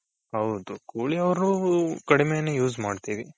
ಹೌದು ಕೂಲಿ ಅವ್ರು ಕಡ್ಮೆ ನೆ use ಮಾಡ್ತಿವಿ.